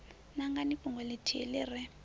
nangani fhungo ḽithihi ḽi re